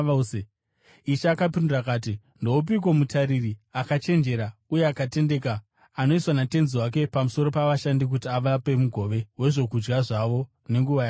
Ishe akapindura akati, “Ndoupiko mutariri akachenjera, uye akatendeka, anoiswa natenzi wake pamusoro pavashandi kuti avape mugove wezvokudya zvavo nenguva yakafanira?